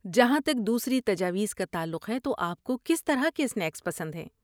جہاں تک دوسری تجاویز کا تعلق ہے تو، آپ کو کس طرح کے سنیکس پسند ہیں؟